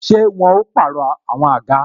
Ṣé wọn ó pàrọ̀ àwọn àga?